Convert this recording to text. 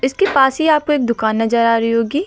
इसके पास ही आपको एक दुकान नजर आ रही होगी।